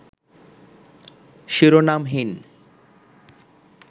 শিরোনামহীন